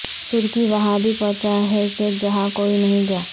ترکی وہاں بھی پہنچا ہے کہ جہاں کوئی نہیں گیا